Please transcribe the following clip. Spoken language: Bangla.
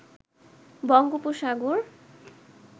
বঙ্গোপসাগর